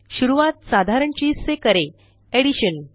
शुरूआत साधारण चीज से करें एडिशन